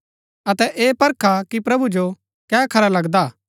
अतै ऐह परखा कि प्रभु जो कै खरा लगदा हा